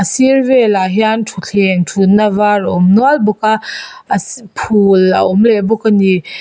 sir velah hian thutthleng thutna var a awm nual bawk a asii phul a awm leh bawk a ni.